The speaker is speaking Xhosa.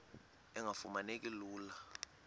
engafuma neki lula